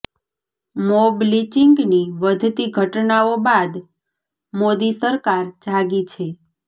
mob લિચિંગની વધતી ઘટનાઓ બાદ મોદી સરકાર જાગી છે